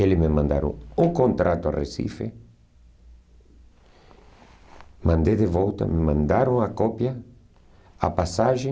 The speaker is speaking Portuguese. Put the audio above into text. Eles me mandaram o contrato a Recife, mandei de volta, me mandaram a cópia, a passagem,